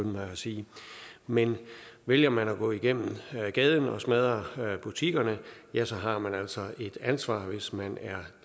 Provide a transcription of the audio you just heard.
mig at sige men vælger man at gå igennem gaden og smadre butikkerne ja så har man altså et ansvar hvis man er